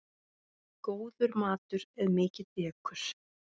Góður matur er mikið dekur.